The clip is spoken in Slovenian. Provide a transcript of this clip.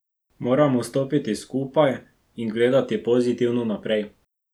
Moramo stopiti skupaj in gledati pozitivno naprej.